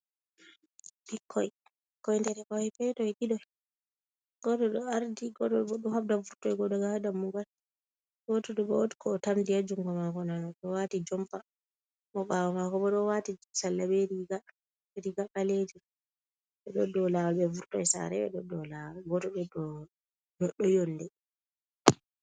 Ɓikkoi koi, ɓikkoi dereke hoi petoi didoi goto ɗo ardi godo bo do habda vurtoi go daga ha dammugal, goto ɗo ba wod ko o tamdi ha jungo mako nano, odo wati jompa mo bawo mako bo do wati salla be riga riga ɓalejum, ɓeɗo dow awol be vurtoi sare be ɗo dow lawal godo ɗo yonde.